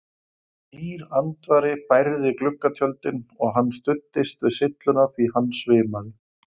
Hlýr andvari bærði gluggatjöldin og hann studdist við sylluna því hann svimaði.